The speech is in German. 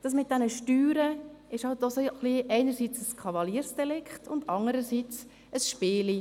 Das mit den Steuern ist eben auch ein wenig ein Kavaliersdelikt und ein Spielchen: